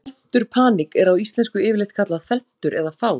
felmtur paník er á íslensku yfirleitt kallað felmtur eða fát